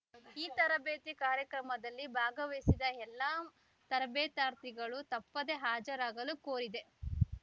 ಈ ತರಬೇತಿ ಕಾರ್ಯಕ್ರಮದಲ್ಲಿ ಭಾಗವಹಿಸಿದ್ದ ಎಲ್ಲಾ ತರಬೇತಾರ್ಥಿಗಳು ತಪ್ಪದೇ ಹಾಜರಾಗಲು ಕೋರಿದೆ